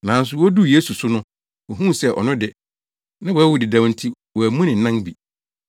Nanso woduu Yesu so no wohuu sɛ ɔno de, na wawu dedaw enti wɔammu ne nan bi.